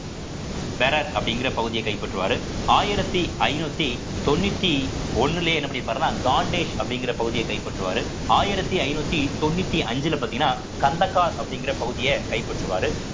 அப்படிங்கிற பகுதியை கைப்பற்றுவாரு ஆயிரத்தி ஐநூத்தி தொண்ணூத்தி ஒண்ணுலயே என்ன பண்ணிப்பாருன்னா காண்டேஷ் அப்படிங்கிற பகுதியே கைப்பற்றுவாரு ஆயிரத்தி ஐநூத்தி தொண்ணூத்தி அஞ்சுல பார்த்தீங்கன்னா கந்தக்கா அப்படிங்கிற பகுதியை கைப்பற்றுவாரு